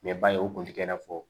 Mɛ ba ye o kun tɛ kɛ n'a fɔ